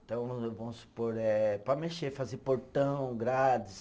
Então, vamos supor eh, para mexer, fazer portão, grades